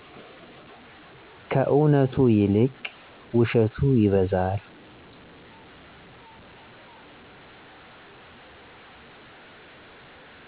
ከእውነቱ ይልቅ ውሸቱ ይበዛል